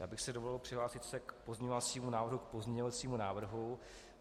Já bych si dovolil přihlásit se k pozměňovacímu návrhu k pozměňovacímu návrhu.